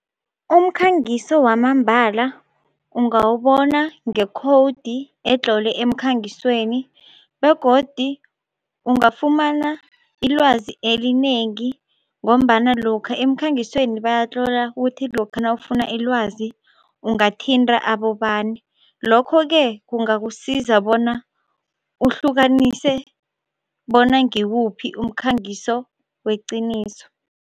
Umkhangiso wamambala ungawubona ngekhowudi etlolwe emkhangisweni begodi ungafumana ilwazi elinengi ngombana lokha emkhangisweni bayatlola kuthi lokha nawufuna ilwazi ungathinta abobani, lokho-ke kungakusiza bona uhlukanise bona ngiwuphi umkhangiso weqiniso.